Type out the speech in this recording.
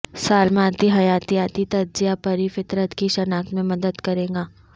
سالماتی حیاتیاتی تجزیہ پری فطرت کی شناخت میں مدد کرے گا